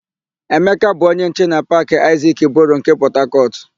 Emeka bụ onye nche na Paakị Aịzik Boro nke Pọtakọtụ.ụ